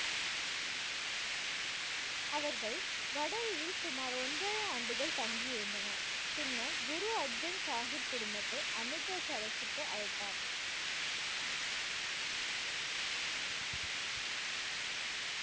அவர்கள் வடலியில் சுமார் ஒன்றரை ஆண்டுகள் தங்கியிருந்தனர் பின்னர் குரு அர்ஜன் சாஹிப் குடும்பத்தை அமிர்தசரஸுக்கு அழைத்தார்